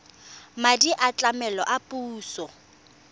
madi a tlamelo a puso